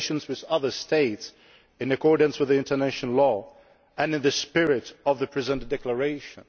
relations with other States in accordance with international law and in the spirit of the present Declaration'.